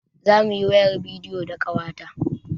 Zamuyi wayar bidiyo da ƙawata